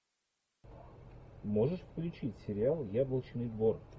можешь включить сериал яблочный двор